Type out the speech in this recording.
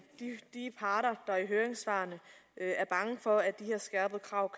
er i høringssvarene for at de her skærpede krav